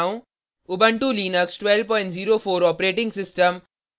Ubuntu Linux 1204 operating system